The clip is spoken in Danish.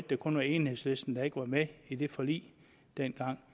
det kun var enhedslisten der ikke var med i det forlig dengang